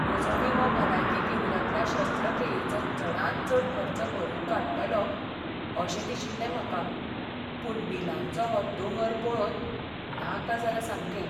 म्हजो विमो भलायकी केंद्रांतल्या शस्त्रक्रियेचो चडांत चड खर्च भरून काडटलो अशें दिशिल्लें म्हाका. पूण बिलांचो हो दोंगर पळोवन नाका जालां सामकें.